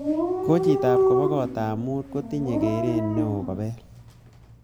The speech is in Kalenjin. Kochitop kobo kotab mut kotinyei keret neo kobel